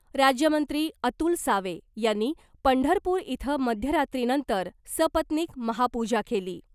राज्यमंत्री अतुल सावे यांनी पंढरपूर इथं मध्यरात्रीनंतर सपत्नीक महापुजा केली .